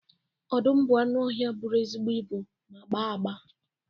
Ọdụm bụ anụ ọhịa bụrụ ezigbo ibu ma gbaa agba